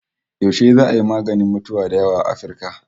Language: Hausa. Yashe za'a yi maganin mutuwa da yunwa a Afirka?